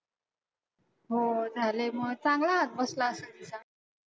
हो झाले मग चांगला हात बसला असेल तिचा.